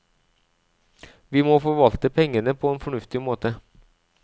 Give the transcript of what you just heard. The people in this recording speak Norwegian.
Vi må forvalte pengene på en fornuftig måte.